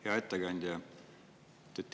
Hea ettekandja!